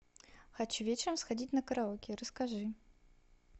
хочу вечером сходить на караоке расскажи